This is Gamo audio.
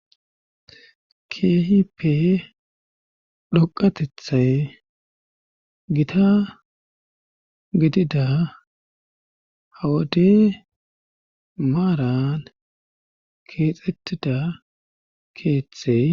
kehipe dhoqatethay gita gidida hawade maaran keexettida keeththey